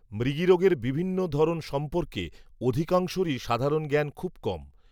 মৃগীরোগের বিভিন্ন ধরন সম্পর্কে অধিকাংশেরই সাধারণ জ্ঞান খুব কম